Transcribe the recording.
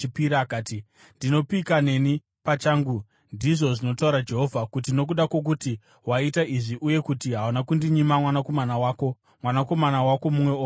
akati, “Ndinopika neni pachangu, ndizvo zvinotaura Jehovha, kuti nokuda kwokuti waita izvi uye kuti hauna kundinyima mwanakomana wako, mwanakomana wako mumwe oga,